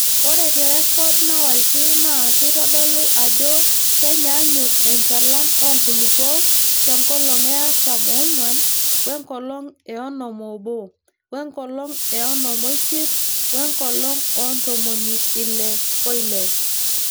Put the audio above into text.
Ore te rrekod naawaki naa keitodolu ajo kenyaanyuk enchalan enkulupuoni te nkolong e artam oong'wan, wenkolong e onom oobo, wenkolong e onom oisiet, wenkolong oo ntomoni Ile oile.